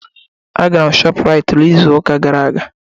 Agara m Shọpuraiti n'izu ụka gara aga.